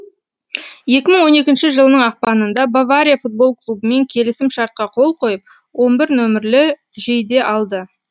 екі мың он екінші жылының ақпанында бавария футбол клубымен келісім шартқа қол қойып он бір нөмірлі жейде алды